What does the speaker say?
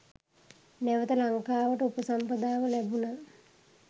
නැවත ලංකාවට උපසම්පදාව ලැබුණ